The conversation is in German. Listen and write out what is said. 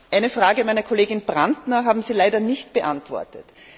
Eine Frage meiner Kollegin Brantner haben Sie leider nicht beantwortet.